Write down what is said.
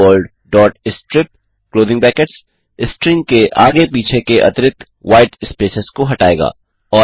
hello world strip string के आगे पीछे के अतिरिक्त व्हाईट स्पेसेस को हटाएगा